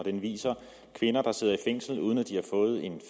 den viser kvinder der sidder i fængsel uden at de har fået en